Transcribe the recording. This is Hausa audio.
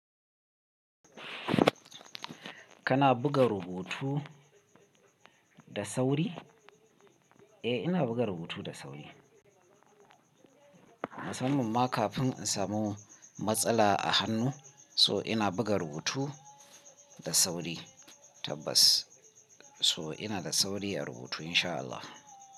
Kana buga rubutu da sauri? Eh ina buga rubutu da sauri. Musamman kafin in samu matsala a hannu so ina buga rubutu da sauri tabbas. So ina da sauri a rubutu insha Allah.